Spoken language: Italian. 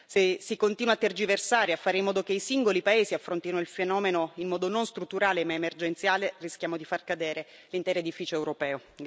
Se si continua a tergiversare e a fare in modo che i singoli paesi affrontino il fenomeno in modo non strutturale, ma emergenziale, rischiamo di far cadere l'intero edificio europeo.